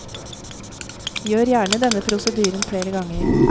Gjør gjerne denne prosedyren flere ganger.